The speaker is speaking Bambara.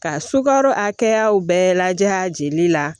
Ka sukaro a kɛyaw bɛɛ lajɛ a jeli la